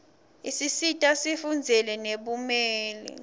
isisita sifundzele nebumeli